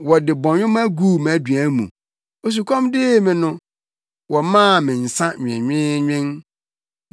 Wɔde bɔnwoma guu mʼaduan mu, osukɔm dee me no, wɔmaa me nsa nwenweenwen.